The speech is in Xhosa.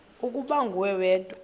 ukuba nguwe wedwa